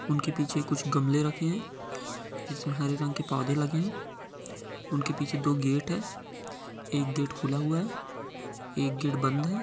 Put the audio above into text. उनके पीछे कुछ गमले रखें है जिसमें हरे रंग के पौधे लगे हैं उनके पीछे दो गेट है एक गेट खुला हुआ है एक गेट बंद है।